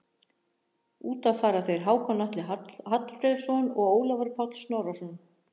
Út af fara þeir Hákon Atli Hallfreðsson og Ólafur Páll Snorrason.